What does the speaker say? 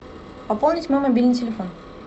пополнить мой мобильный телефон